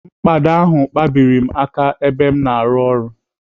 Mkpado ahụ kpabiri m aka ebe m na-arụ ọrụ.